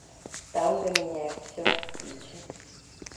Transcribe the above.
танго меняет все включи